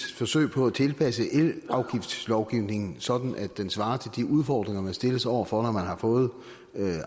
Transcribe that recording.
forsøg på at tilpasse elafgiftslovgivningen sådan at den svarer til de udfordringer man stilles over for når man har fået